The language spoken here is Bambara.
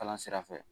Kalan sira fɛ